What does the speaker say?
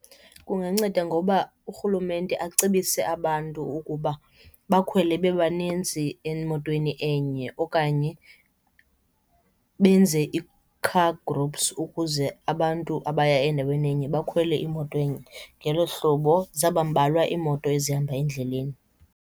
Kunganceda ngoba urhulumente acebise abantu ukuba bakhwele bebanintsi emotweni enye okanye benze ii-car groups ukuze abantu abaya endaweni enye bakhwele imoto enye. Ngelo hlobo zawubambalwa iimoto ezihamba endleleni.